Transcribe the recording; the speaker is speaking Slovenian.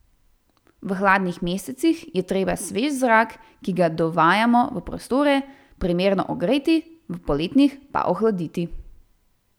V hladnih mesecih je treba svež zrak, ki ga dovajamo v prostore, primerno ogreti, v poletnih pa ohladiti.